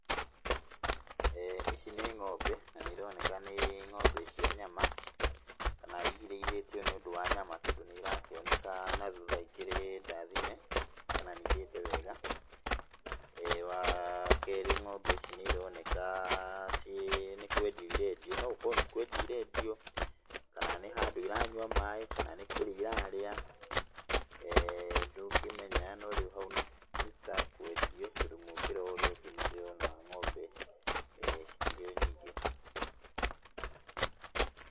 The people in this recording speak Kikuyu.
Ici nĩ ng'ombe na nĩironeka nĩ ng'ombe cia nyama, kana irĩithĩtio nĩũndũ wa nyama, tondũ nĩirakĩoneka na thutha ikĩrĩ ndathime kana nĩirĩte wega. Wakerĩ ng'ombe ici nĩironeka ciĩ nĩ kwendio irendio, no ũkorwo nĩ kwendio irendio, kana nĩ handũ iranyua maĩ, kana nĩ kũrĩa irarĩa, ndũngĩmenya no rĩu hau nĩtakwendio tondũ mũkĩra ũrĩa ũngĩ nĩndĩrona ng'ombe cikĩrĩ o nyingĩ.